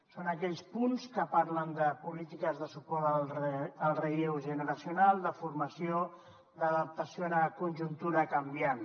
són aquells punts que parlen de polítiques de suport al relleu generacional de formació d’adaptació a la conjuntura canviant